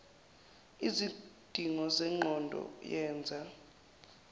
lzidingo zengqondo yenza